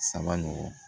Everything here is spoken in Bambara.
Saba nɔgɔn